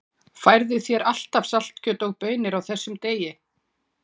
Færðu þér alltaf saltkjöt og baunir á þessum degi?